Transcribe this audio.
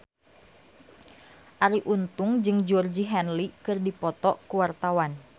Arie Untung jeung Georgie Henley keur dipoto ku wartawan